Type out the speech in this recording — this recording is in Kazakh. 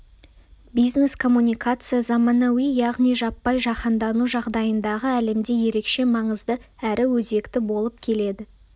бизнес-коммуникация заманауи яғни жаппай жаһандану жағдайындағы әлемде ерекше маңызды әрі өзекті болып келеді